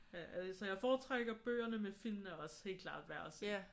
Altså jeg foretrækker bøgerne men filmene er også helt klart værd at se